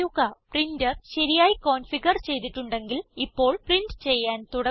printer ശരിയായി configure ചെയ്തിട്ടുണ്ടെങ്കിൽ ഇപ്പോൾ പ്രിന്റ് ചെയ്യാൻ തുടങ്ങുന്നു